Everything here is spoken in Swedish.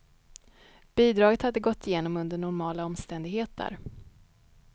Bidraget hade gått igenom under normala omständigheter.